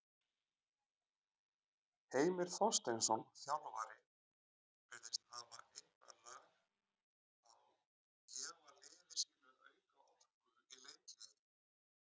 Heimir Þorsteinsson, þjálfari virðist hafa eitthvað lag á gefa liði sínu auka orku í leikhléi.